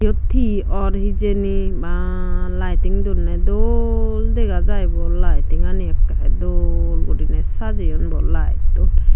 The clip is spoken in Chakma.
iyot hi or hijeni baa lighting donney dol dega jaibo lightingani ekkerey dol guriney sajeyon bo laettoi.